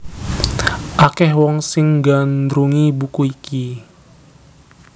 Akèh wong sing nggandrungi buku iki